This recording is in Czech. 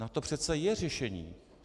Na to přece je řešení.